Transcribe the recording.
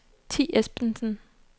Thi Esbensen